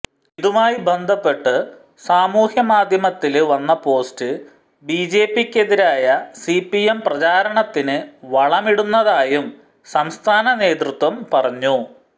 ഇതുമായി ബന്ധപ്പെട്ട് സമൂഹമാധ്യമത്തില് വന്ന പോസ്റ്റ് ബിജെപിക്കെതിരായ സിപിഎം പ്രചാരണത്തിന് വളമിടുന്നതായും സംസ്ഥാന നേതൃത്വം പറഞ്ഞു